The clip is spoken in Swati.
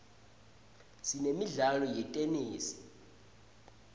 sinemidlalo yetenesi